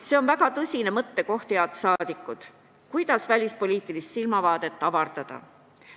See on väga tõsine mõttekoht, head saadikud, kuidas välispoliitilist silmavaadet avardada.